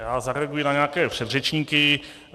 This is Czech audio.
Já zareaguji na nějaké předřečníky.